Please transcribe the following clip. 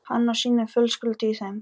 Hann á sína fjölskyldu í þeim.